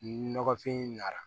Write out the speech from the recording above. Ni nɔgɔfin na